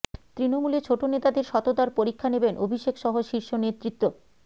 তৃণমূলে ছোট নেতাদের সততার পরীক্ষা নেবেন অভিষেক সহ শীর্ষ নেতৃত্ব